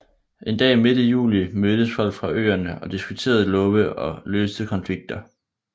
En dag midt i juli mødtes folk fra øerne og diskuterede love og løste konflikter